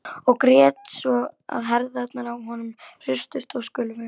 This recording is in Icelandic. Og grét svo að herðarnar á honum hristust og skulfu.